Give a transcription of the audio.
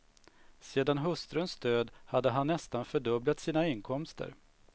Sedan hustruns död hade han nästan fördubblat sina inkomster.